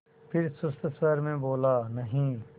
फिर सुस्त स्वर में बोला नहीं